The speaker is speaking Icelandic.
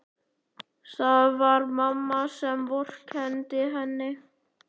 Það var mamma sem vorkenndi henni.